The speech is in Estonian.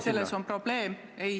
Selles on probleem.